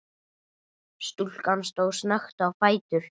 Stúlkan stóð snöggt á fætur.